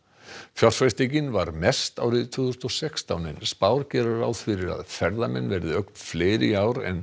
fjárfestingin var mest árið tvö þúsund og sextán en spár gera ráð fyrir að ferðamenn verði ögn fleiri í ár en